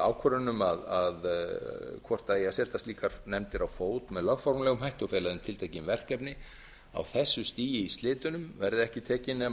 ákvörðun um hvort það eigi að setja slíkar nefndir á fót með lögformlegum hætti og fela þeim tiltekin verkefni á þessu stigi í slitunum verði ekki tekin